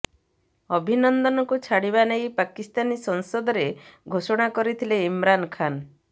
ଅଭିନନ୍ଦନଙ୍କୁ ଛାଡିବା ନେଇ ପାକିସ୍ତାନୀ ସଂସଦରେ ଘୋଷଣା କରିଥିଲେ ଇମ୍ରାନ ଖାନ୍